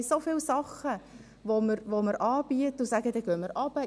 Wir haben so viele Dinge, die wir anbieten, und dabei sagen wir, dass wir hinuntergehen.